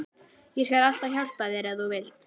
Ég skal alltaf hjálpa þér ef þú vilt.